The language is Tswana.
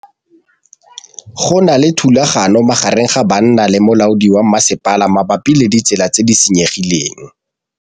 Go na le thulanô magareng ga banna le molaodi wa masepala mabapi le ditsela tse di senyegileng.